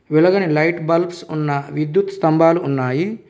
వెలగని light bulbs ఉన్న విద్యుత్ స్తంభాలు ఉన్నాయి.